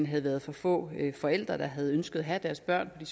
havde været for få forældre der havde ønsket at have deres børn i